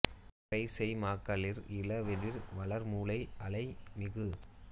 வரை செய் மாக்களிர் இள வெதிர் வளர் முளை அளை மிகு